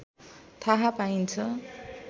थाहा पाइन्छ